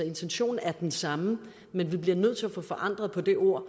intentionen er den samme men vi bliver nødt til at få forandret det ord